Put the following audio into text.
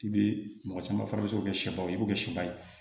I bɛ mɔgɔ caman fana bɛ se k'o kɛ sɛba ye i b'o kɛ sɛba ye